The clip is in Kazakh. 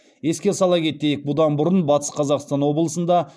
еске сала кетейік бұдан бұрын батыс қазақстан облысында